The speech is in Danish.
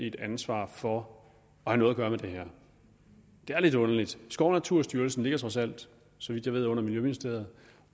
et ansvar for at have noget at gøre med det her det er lidt underligt skov og naturstyrelsen ligger trods alt så vidt jeg ved under miljøministeriet